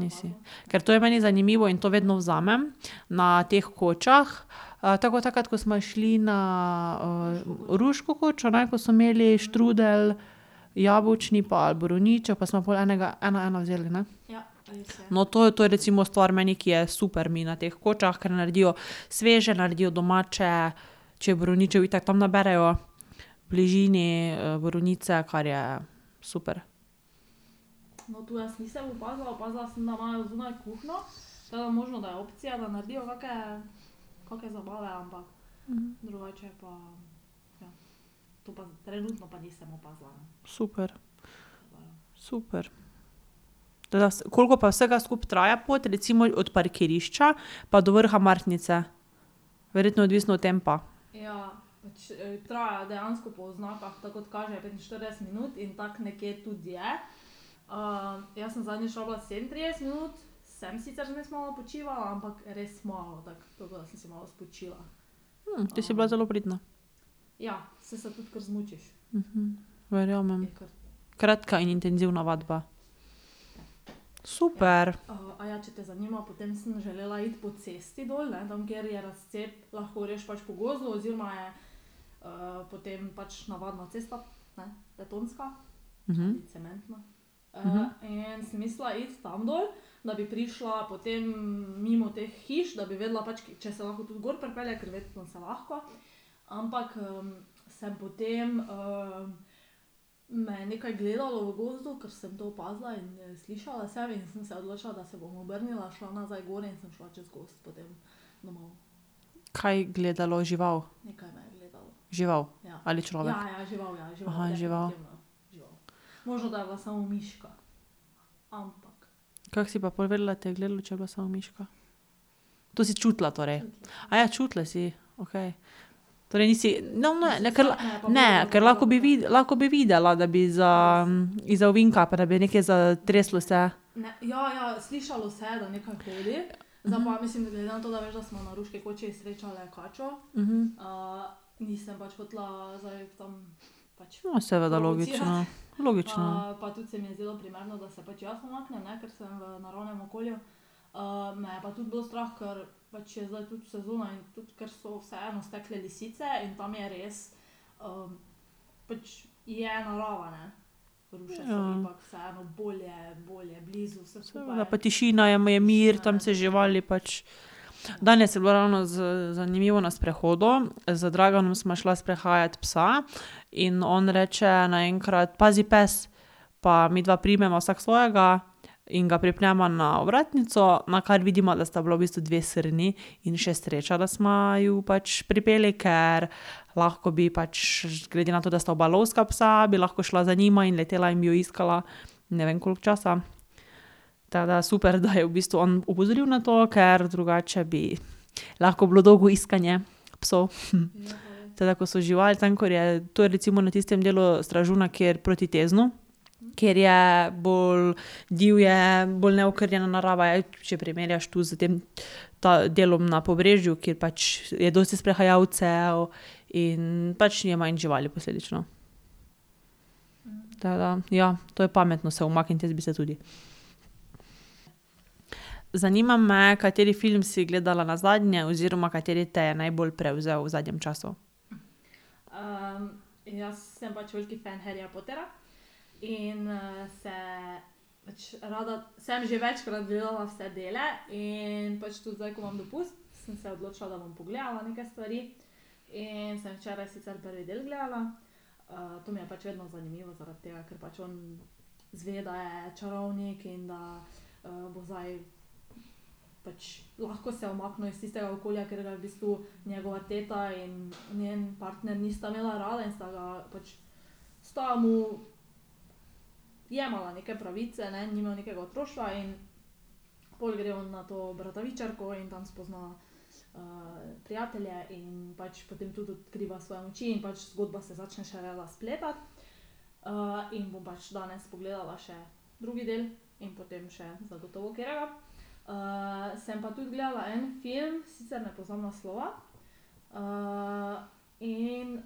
Nisi. Ker to je meni zanimivo in to vedno vzamem na teh kočah. tako ko takrat, ko sva šli na, Ruško kočo, ne, ko so imeli štrudelj jabolčni pa borovničev, pa sva pol enega ena, ena vzeli, ne? No, to, to je recimo stvar meni, ki je super mi na teh kočah, ker naredijo sveže, naredijo domače. Če je borovničev, itak tam naberejo v bližini, borovnice, kar je super. Super. Super. Tako da ... Koliko pa vsega skupaj traja pot recimo od parkirišča pa do vrha Martnice? Verjetno je odvisno od tempa. te si bila zelo pridna. Verjamem. Kratka in intenzivna vadba. Super. Kaj gledalo? Žival? Žival? Ali človek? žival. Kako si pa pol vedela, da te je gledalo, če je bila samo miška? To si čutila torej? čutila si. Okej. Torej nisi ... Ne, ne, ker ... Ne, ker lahko, bi lahko bi videla da bi izza, izza ovinka, pa da bi nekaj zatreslo se. Ja, seveda. Logično. Logično. Ja. Seveda. Pa tišina je, mir, tam se živali pač ... Danes je bilo ravno zanimivo na sprehodu. Z Draganom sva šla sprehajat psa. In on reče naenkrat: "Pazi, pes." Pa midva primeva vsak svojega in ga pripneva na ovratnico, nakar vidiva, da sta bile v bistvu dve srni. In še sreča, da sva ju pač pripeli, ker lahko bi pač, glede na to, da sta oba lovska psa, bi lahko šla za njima in letela in bi jo iskala ne vem koliko časa. Tako da super, da je v bistvu on opozoril na to, ker drugače bi lahko bilo dolgo iskanje psov. Tako da, ko so živali, tam, ko je, to je bilo recimo na tistem delu Stražuna, proti Teznu, kjer je bolj divje, bolj neokrnjena narava je, če primerjaš tu s tem delom na Pobrežju, kjer pač je dosti sprehajalcev in pač je manj živali posledično. Tako da ja. To je pametno se umakniti, jaz bi se tudi. Zanima me, kateri film si gledala nazadnje oziroma kateri te je najbolj prevzel v zadnjem času. Ličila. Ja.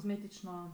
Tako.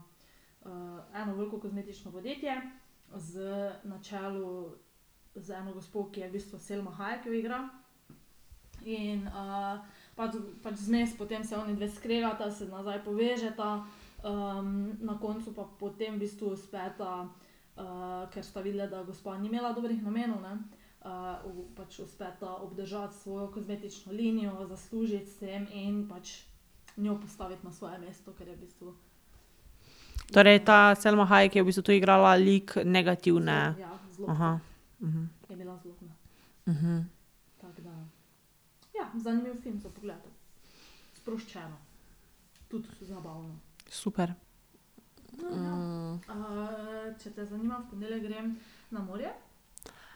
Torej ta Selma Hayek je v bistvu tu igrala lik negativne? Super.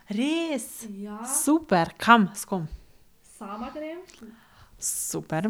Res? Super. Kam? S kom? Super.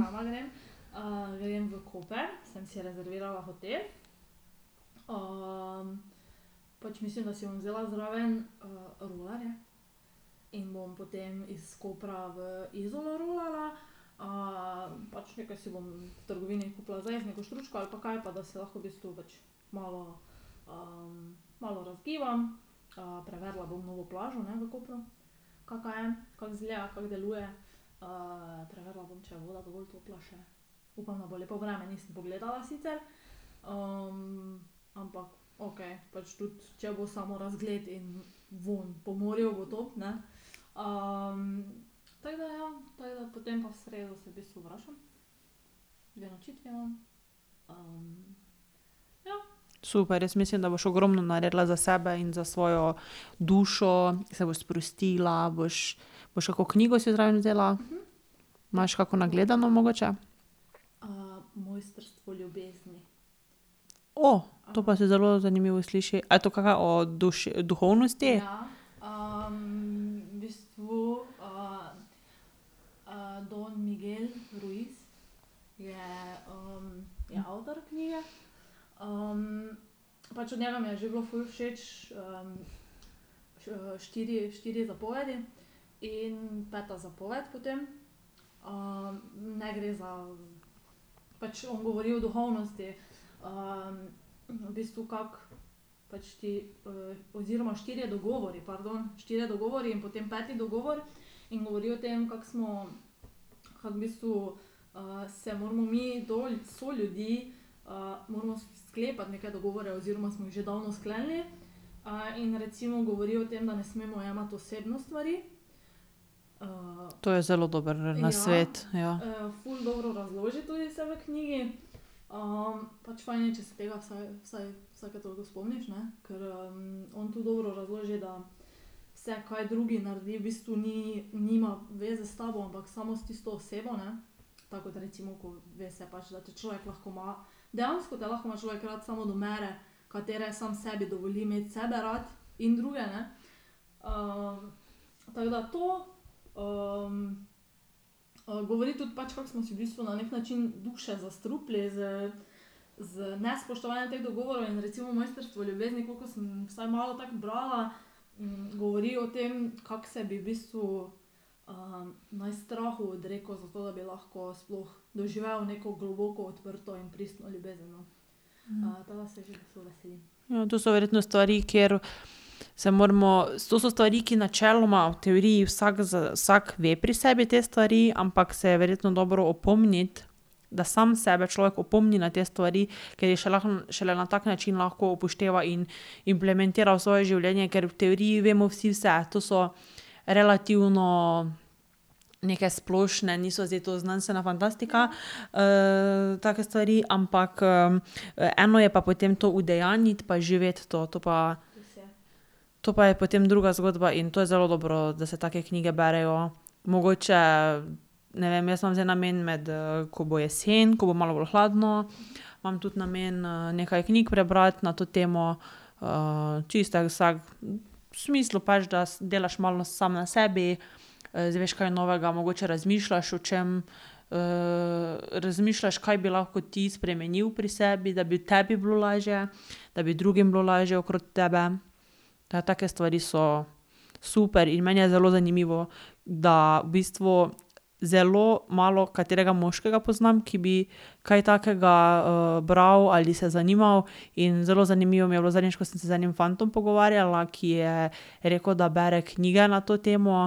Super. Jaz mislim, da boš ogromno naredila za sebe in za svojo dušo, se boš sprostila, boš ... Boš kako knjigo si zraven vzela? Imaš kako nagledano mogoče? to pa se zelo zanimivo sliši. A je to kaka o duhovnosti? To je zelo dober nasvet. Ja. To so verjetno stvari, kjer se moramo, to so stvari, ki načeloma v teoriji vsak vsak ve pri sebi te stvari, ampak se je verjetno dobro opomniti, da sam sebe človek opomni na te stvari, ker jih šele na tak način lahko upošteva in implementira v svoje življenje. Ker v teoriji vemo vsi vse. To so relativno neke splošne, niso zdaj to znanstvena fantastika, take stvari, ampak, eno je pa potem to udejanjiti pa živeti to. To pa, to pa je potem druga zgodba in to je zelo dobro, da se take knjige berejo. Mogoče, ne vem, jaz imam zdaj namen med, ko bo jeseni, ko bo malo bolj hladno, imam tudi namen, nekaj knjig prebrati na to temo. čisto tako, vsak v smislu pač, da delaš malo samo na sebi, izveš kaj novega, mogoče razmišljaš o čem. razmišljaš, kaj bi lahko ti spremenil pri sebi, da bi tebi bilo lažje, da bi drugim bilo lažje okrog tebe. Take stvari so super in meni je zelo zanimivo, da v bistvu zelo malokaterega moškega poznam, ki bi kaj takega, bral ali se zanimal. In zelo zanimivo mi je bilo zadnjič, ko sem se z enim fantom pogovarjala, ki je rekel, da bere knjige na to temo,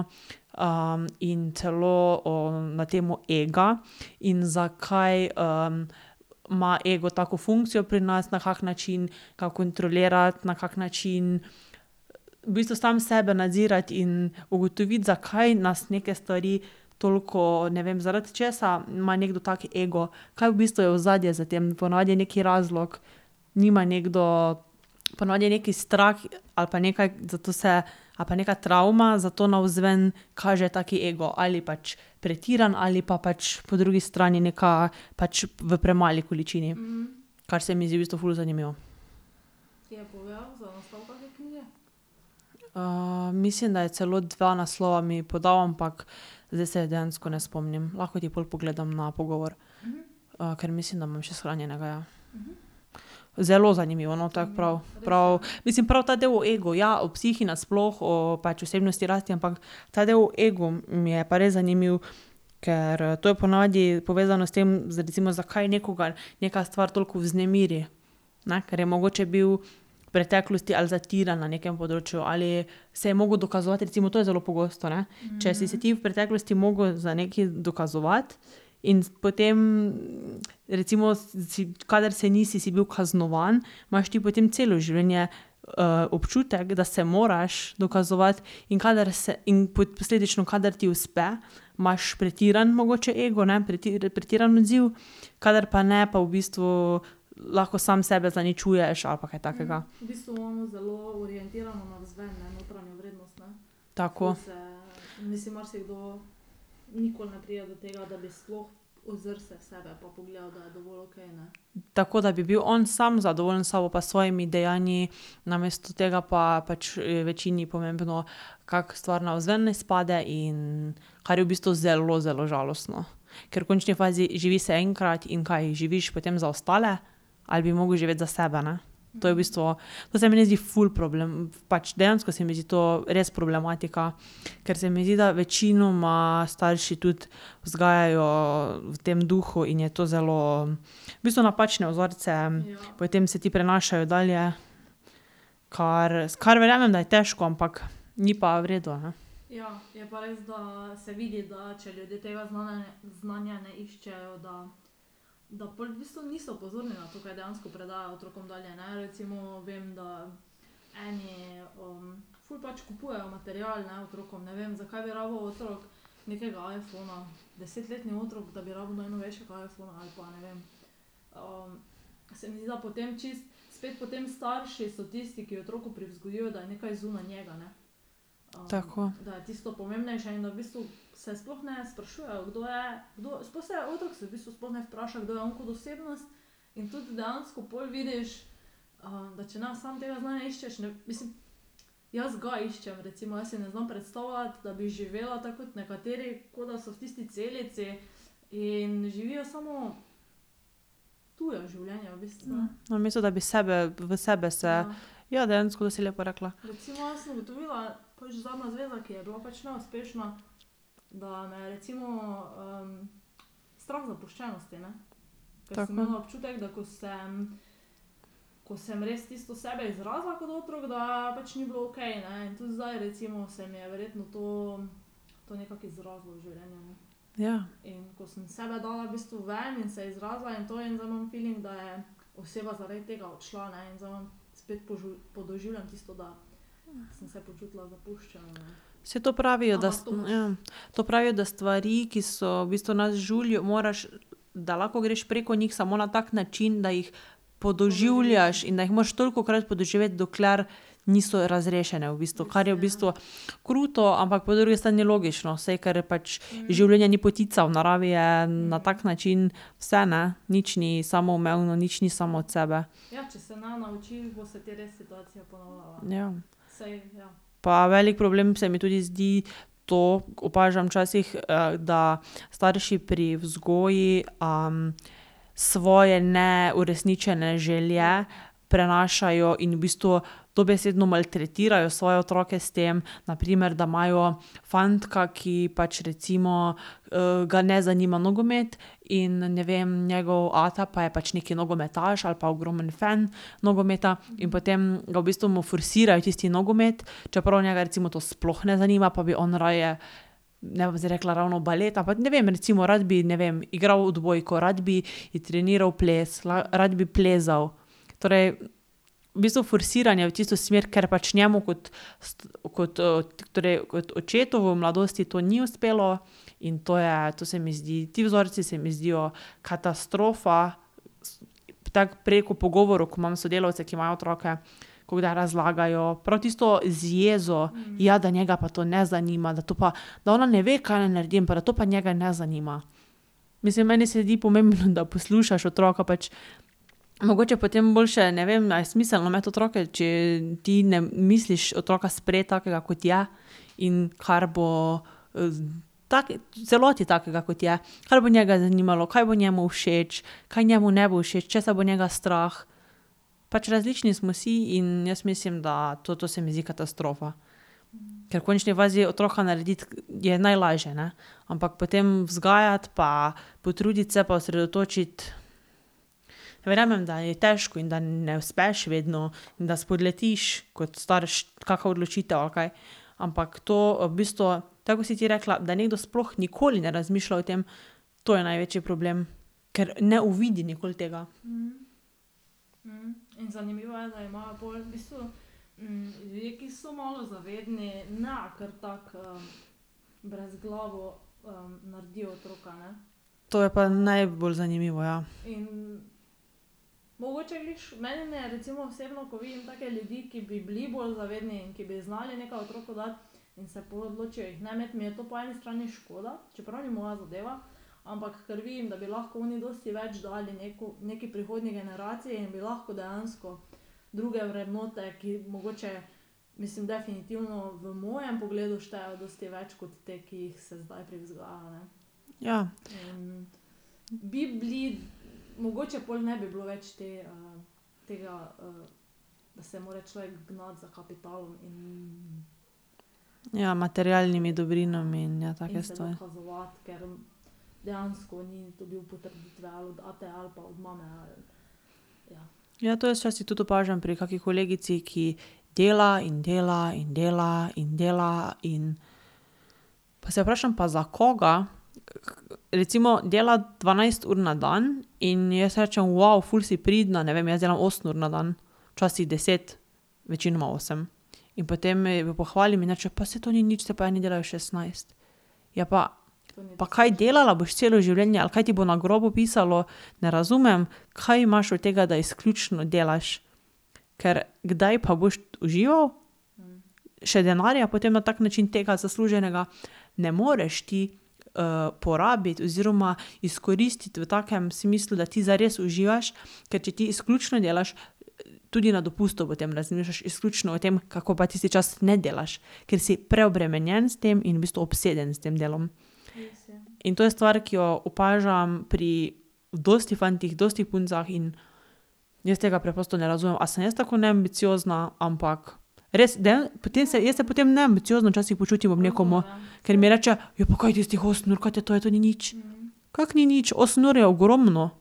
in celo o, na temo ega in zakaj, ma ego tako funkcijo pri nas, na kak način ga kontrolirati, na kak način v bistvu sam sebe nadzirati in ugotoviti, zakaj nas neke stvari toliko, ne vem, zaradi česa ima nekdo tak ego, kaj v bistvu je ozadje za tem. Po navadi je nekaj razlog. Nima nekdo, po navadi je neki strah ali pa nekaj, zato se ali pa nekaj travma, zato navzven kaže tak ego. Ali pač pretiran ali pa pač po drugi strani neka pač v premali količini. Kar se mi zdi v bistvu ful zanimivo. mislim, da je celo dva naslova mi podal, ampak zdaj se dejansko ne spomnim. Lahko ti pol pogledam na pogovor. ker mislim, da imam še shranjenega, ja. Zelo zanimivo, no, tako prav, prav, mislim prav ta del o egu. Ja, o psihi nasploh, o pač osebnostni rasti, ampak ta del o egu mi je pa res zanimiv, ker, to je po navadi povezano s tem, recimo zakaj nekoga neka stvar toliko vznemiri, ne, ker je mogoče bil v preteklosti ali zatiran na nekem področju ali se je mogel dokazovati. Recimo to je zelo pogosto, ne. Če si se ti v preteklosti mogel za nekaj dokazovati in potem, recimo kadar se nisi, si bil kaznovan, imaš ti potem celo življenje, občutek, da se moraš dokazovati. In kadar in posledično kadar ti uspe, imaš pretiran mogoče ego, ne, pretiran odziv, kadar pa ne, pa v bistvu lahko sam sebe zaničuješ ali pa kaj takega. Tako. Tako da bi bil on samo zadovoljen s sabo pa s svojimi dejanji, namesto tega pa pač, je večini pomembno, kako stvar navzven, ne, izpade in, kar je v bistvu zelo, zelo žalostno. Ker v končni fazi, živi se enkrat in kaj? Živiš potem za ostale? Ali bi mogel živeti za sebe, ne? To je v bistvu, to se meni zdi ful problem, pač dejansko se mi zdi to res problematika, ker se mi zdi, da večinoma starši tudi vzgajajo v tem duhu in je to zelo ... V bistvu napačne vzorce, potem se ti prenašajo dalje. Kar kar verjamem, da je težko, ampak ni pa v redu, ne. Tako. Namesto da bi sebe, v sebe se, ja, dejansko to si lepo rekla. Tako. Ja. Saj to pravijo, da s... Ja. To pravijo, da stvari, ki so, v bistvu nas žulijo, moraš, da lahko greš preko njih samo na tak način, da jih podoživljaš in da jih moraš tolikokrat podoživeti, dokler niso razrešene v bistvu. Kar je v bistvu kruto, ampak po drugi strani logično, saj, ker je pač, življenje ni potica, v naravi je na tak način vse, ne. Nič ni samoumevno, nič ni samo od sebe. Ja. Pa velik problem se mi tudi zdi to, opažam včasih, da starši pri vzgoji, svoje neuresničene želje prenašajo in v bistvu dobesedno maltretirajo svoje otroke s tem. Na primer, da imajo fantka, ki pač recimo, ga ne zanima nogomet, in ne vem, njegov ata pa je pač neki nogometaš ali pa ogromen fen nogometa, in potem ga v bistvu, mu forsirajo tisti nogomet, čeprav njega recimo to sploh ne zanima, pa bi on raje, ne bom zdaj rekla ravno balet, ampak, ne vem, recimo, rad bi, ne vem, igral odbojko, rad bi trenirali ples, rad bi plezal. Torej v bistvu forsiranje v tisto smer. Ker pač njemu kot kot, torej kot očetu v mladosti to ni uspelo. In to je, to se mi zdi, ti vzorci se mi zdijo katastrofa. Tako preko pogovorov, ko imam s sodelavci, ki imajo otroke, ko kdaj razlagajo prav tisto z jezo: "Ja, da njega pa to ne zanima, da to pa, da ona ne ve, kaj naj naredi, ampak da to pa njega ne zanima." Mislim, meni se zdi pomembno, da poslušaš otroka. Pač mogoče potem boljše, ne vem, a je smiselno imeti otroke, če ti ne misliš otroka sprejeti takega, kot je, in kar bo, v celoti takega, kot je. Kaj bo njega zanimalo, kaj bo njemu všeč, kaj njemu ne bo všeč, česa bo njega strah. Pač različni smo si in jaz mislim, da to, to se mi zdi katastrofa. Ker v končni fazi, otroka narediti je najlažje, ne. Ampak potem vzgajati pa potruditi se pa osredotočiti. Verjamem, da je težko in da ne uspeš vedno in da spodletiš kot starš, kaka odločitev ali kaj, ampak to v bistvu, tako kot si ti rekla, da nekdo sploh nikoli ne razmišlja o tem, to je največji problem. Ker ne uvidi nikoli tega. To je pa najbolj zanimivo, ja. Ja. Ja, materialnimi dobrinami in ja, take stvari. Ja, to jaz včasih tudi opažam pri kaki kolegici, ki dela in dela in dela in dela in ... Pa se vprašam: "Pa za koga?" Recimo, dela dvanajst ur na dan in ji jaz rečem: ful si pridna." Ne vem, jaz delam osem ur na dan, včasih deset. Večinoma osem. In potem jo pohvalim in mi reče: "Pa saj to ni nič, saj pa eni delajo šestnajst." Ja, pa pa kaj, delala boš celo življenje, ali kaj ti bo na grobu pisalo, ne razumem, kaj imaš od tega, da izključno delaš. Ker kdaj pa boš užival? Še denarja potem na tak način tega zasluženega ne moreš ti, porabiti oziroma izkoristiti v takem smislu, da ti zdaj res uživaš. Ker če ti izključno delaš, tudi na dopustu potem razmišljaš izključno o tem, kako pa tisti čas ne delaš. Ker si preobremenjen s tem in v bistvu obseden s tem delom. In to je stvar, ki jo opažam pri dosti fantih, dosti puncah in jaz tega preprosto ne razumem. A sem jaz tako neambiciozna, ampak res potem se jaz se potem neambiciozno včasih počutim ob nekom. Ker mi reče: "Ja, pa kaj tistih osem ur, kaj te to je? To ni nič." Kako ni nič? Osem ur je ogromno.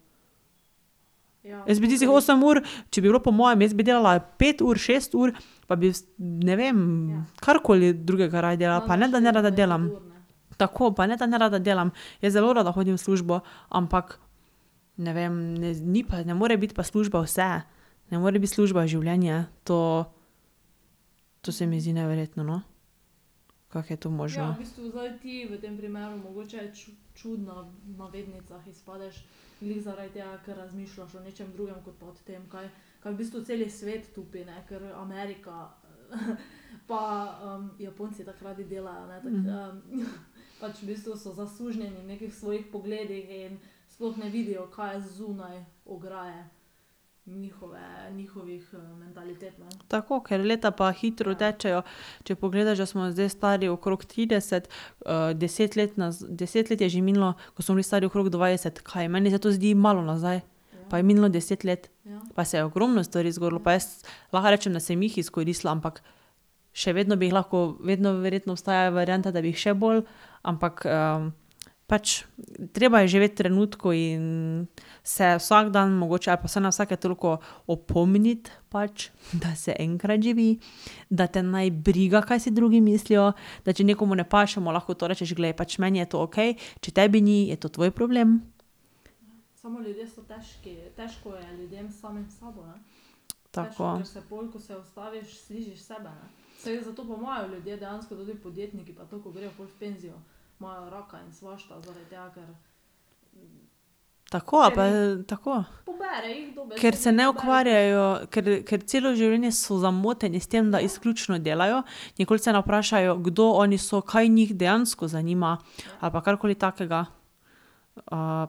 Jaz bi tistih osem ur, če bi bilo po mojem, jaz bi delala pet ur, šest ur, pa bi ne vem, karkoli drugega raje delala. Pa ne, da nerada delam. Tako, pa ne, da nerada delam, jaz zelo rada hodim v službo, ampak ne vem, ne ni pa, ne more biti pa služba vse. Ne more biti služba življenje. To, to se mi zdi neverjetno, no. Kako je to možno. Tako. Ker leta pa hitro tečejo, če pogledaš, da smo zdaj stari okrog trideset, deset let deset let je že minilo, ko smo bili stari okrog dvajset. Kaj, meni se to zdi malo nazaj. Pa je minilo deset let. Pa se je ogromno stvari zgodilo, pa jaz lahko rečem, da sem jih izkoristila, ampak še vedno bi jih lahko, vedno verjetno obstaja varianta, da bi jih še bolj. Ampak, pač treba je živeti v trenutku in se vsak dan mogoče ali pa vsaj na vsake toliko opomniti pač, da se enkrat živi, da te naj briga, kaj si drugi mislijo, da če nekomu ne paše, mu lahko to rečeš: "Glej, pač meni je to okej, če tebi ni, je to tvoj problem." Tako. Tako, ali pa ... Tako. Ker se ne ukvarjajo, ker ker celo življenje so zamoteni s tem, da izključno delajo, nikoli se ne vprašajo, kdo oni so, kaj njih dejansko zanima ali pa karkoli takega.